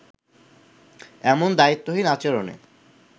এমন দায়িত্বহীন আচরণে